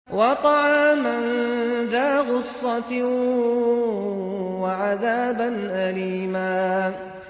وَطَعَامًا ذَا غُصَّةٍ وَعَذَابًا أَلِيمًا